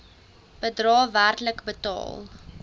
bedrae werklik betaal